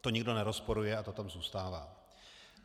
To nikdo nerozporuje a to tam zůstává.